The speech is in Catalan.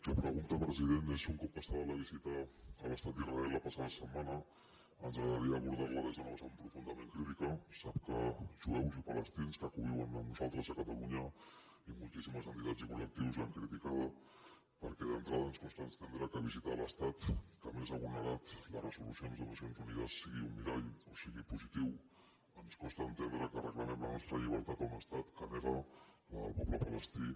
la pregunta president és un cop passada la visita a l’estat d’israel la passada setmana ens agradaria abordar la des d’una vessant profundament crítica sap que jueus i palestins que conviuen amb nosaltres a catalunya i moltíssimes entitats i col·cada perquè d’entrada ens costa entendre que visitar l’estat que més ha vulnerat les resolucions de les nacions unides sigui un mirall o sigui positiu ens costa entendre que reclamem la nostra llibertat a un estat que nega la del poble palestí